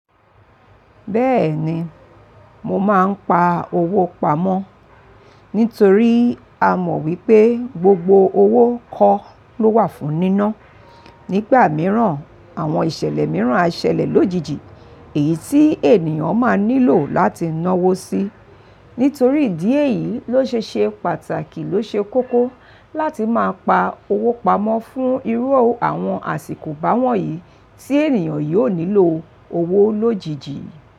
Bẹ́ẹ̀ni, mo máa ń pa owó pamọ́ nítorí a mọ̀ wípé gbogbo owó kọ́ ló wà fún níná. Nígbà mìíràn, àwọn ìṣẹ̀lẹ̀ mìíràn á ṣẹlẹ̀ lójijì èyí tí ènìyàn máa nílò láti náwó sí. Nítorí ìdí èyí ló ṣe ṣe pàtàkì ló ṣe kókó láti máa pa owó pamọ́ fún irú àwọn àsìkò báwọ̀nyí tí ènìyàn yóò nílò owó lójijì.